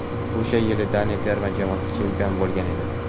o‘sha yili Daniya terma jamoasi chempion bo‘lgan edi.